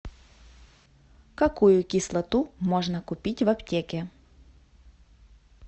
какую кислоту можно купить в аптеке